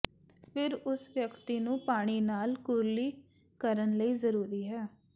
ਫਿਰ ਉਸ ਵਿਅਕਤੀ ਨੂੰ ਪਾਣੀ ਨਾਲ ਕੁਰਲੀ ਕਰਨ ਲਈ ਜ਼ਰੂਰੀ ਹੈ